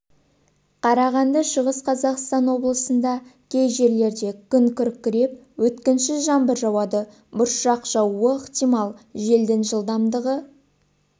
қарағанды шығыс қазақстан облысында кей жерлерде күн күркіреп өткінші жаңбыр жауады бұршақ жаууы ықтимал желдің жылдамдығы